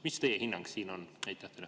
Mis teie hinnang on?